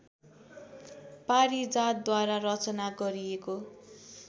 पारिजातद्वारा रचना गरिएको